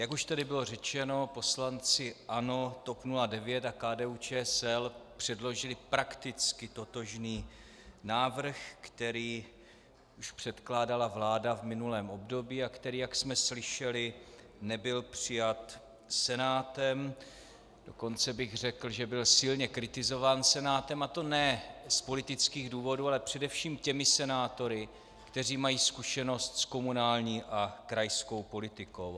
Jak už tady bylo řečeno, poslanci ANO, TOP 09 a KDU-ČSL předložili prakticky totožný návrh, který už předkládala vláda v minulém období a který, jak jsme slyšeli, nebyl přijat Senátem, dokonce bych řekl, že byl silně kritizován Senátem, a to ne z politických důvodů, ale především těmi senátory, kteří mají zkušenost s komunální a krajskou politikou.